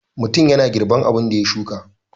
Mutum yana girban abun da ya shuka.